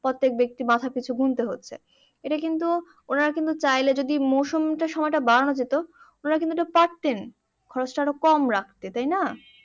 প্রত্যেক ব্যক্তি মাথাপিছু গুনতে হচ্ছে এটা কিন্তু ওনারা কিন্তু চাইলে যদি মরসুমটার সময়টা যদি বাড়ানো যেত ওনারা কিন্তু এটা পারতেন খরচ তা আরো একটু কম রাখতে তাই না